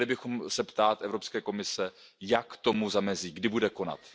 Měli bychom se ptát Evropské komise Jak tomu zamezí, kdy bude konat?